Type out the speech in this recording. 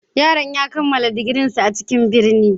Yaron ya kammala digirinsa a cikin birni.